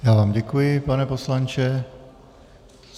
Já vám děkuji, pane poslanče.